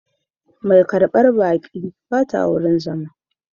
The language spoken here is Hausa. Mai karbar baƙi ba ta wurin zama